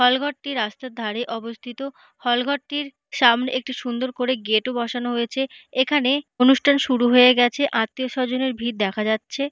হল ঘরটি রাস্তার ধারে অবস্থিত হল ঘরটির সামনে একটি সুন্দর করে গেট -ও বসানো হয়েছে এখানে অনুষ্ঠান শুরু হয়ে গেছে আত্মীয়-স্বজনের ভিড় দেখা যাচ্ছে।